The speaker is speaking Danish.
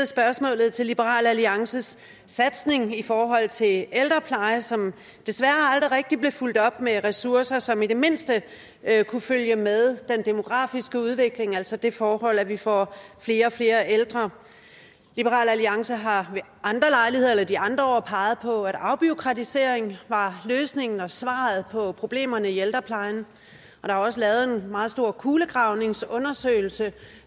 spørgsmål til liberal alliances satsning i forhold til ældrepleje som desværre aldrig rigtig blev fulgt op med ressourcer som i det mindste kunne følge med den demografiske udvikling altså det forhold at vi får flere og flere ældre liberal alliance har ved andre lejligheder eller de andre år peget på at afbureaukratisering var løsningen og svaret på problemerne i ældreplejen og der er også lavet en meget stor kulegravningsundersøgelse